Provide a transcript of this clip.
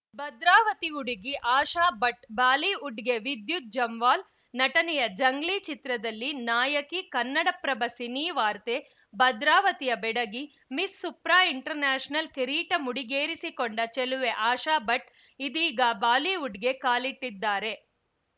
ಭದ್ರಾವತಿ ಹುಡುಗಿ ಆಶಾಭಟ್‌ ಬಾಲಿವುಡ್‌ಗೆ ವಿದ್ಯುತ್‌ ಜಮ್ವಾಲ್‌ ನಟನೆಯ ಜಂಗ್ಲೀ ಚಿತ್ರದಲ್ಲಿ ನಾಯಕಿ ಕನ್ನಡಪ್ರಭ ಸಿನಿವಾರ್ತೆ ಭದ್ರಾವತಿಯ ಬೆಡಗಿ ಮಿಸ್‌ ಸುಪ್ರಾ ಇಂಟರ್‌ನ್ಯಾಶನಲ್‌ ಕಿರೀಟ ಮುಡಿಗೇರಿಸಿಕೊಂಡ ಚೆಲುವೆ ಆಶಾ ಭಟ್‌ ಇದೀಗ ಬಾಲಿವುಡ್‌ಗೆ ಕಾಲಿಟ್ಟಿದ್ದಾರೆ